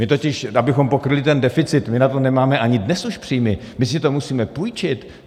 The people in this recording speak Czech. My totiž, abychom pokryli ten deficit, my na to nemáme ani dnes už příjmy, my si to musíme půjčit.